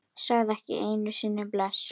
Sagði ekki einu sinni bless.